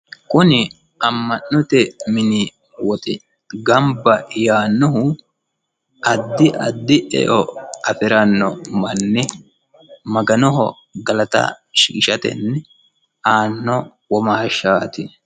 kuni amma'note mini woxi gamba yaannohu addi addi eo afiranno manni maganoho galata shiqishirate aanno womaashshaati